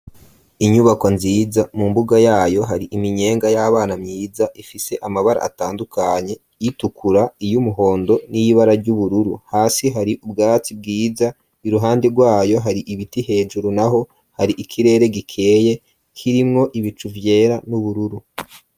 Inyubako nziza mu mbuga yayo hari iminyenga y'abana myiza ifise amabara atandukanye iy'itukura , iy'umuhondo n'ibara ry'ubururu hasi hari ubwatsi bwiza iruhande rwayo hari ibiti hejuru naho hari ikirere gikeye kirimwo ibicu vyera n'ubururu.